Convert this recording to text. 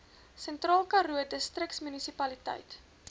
sentraalkaroo distriksmunisipaliteit